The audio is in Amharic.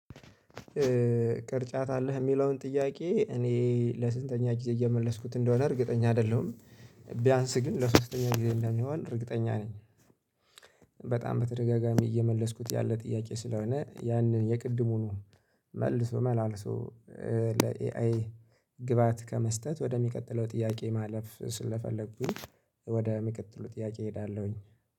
ቅርጫት አለህ የሚለውን ጥያቄ እኔ ለስንተኛ ጊዜ እየመለስኩት እንደሆነ እርግጠኛ አይደለሁም ቢያንስ ግን ለሶስተኛ ጊዜ እንደሚሆን እርግጠኛ ነኝ። በጣም በተደጋጋሚ እየመለስኩት ያለ ጥያቄ ስለሆነ ያንን የቅድሙን መልሶ መላልሶ ለኤአይ ግብአት ከመስጠት ወደሚቀጥለው ጥያቄ ማለፍ ስለፈለኩኝ ወደሚቀጥሉት ጥያቄ እሄዳለሁኝ።